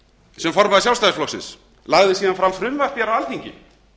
sem formaður sjálfstæðisflokksins lagði síðan fram frumvarp á alþingi